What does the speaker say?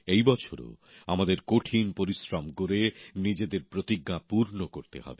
এই বছরও আমাদের কঠিন পরিশ্রম করে নিজেদের প্রতিজ্ঞা পূর্ণ করতে হবে